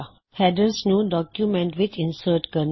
headers ਨੂੰ document ਵਿੱਚ insert ਕਰਨਾ